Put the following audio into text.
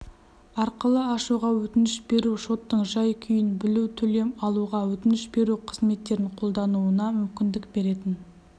арқылы ашуға өтініш беру шоттың жай-күйін білу төлем алуға өтініш беру қызметтерін қолдануына мүмкіндік беретін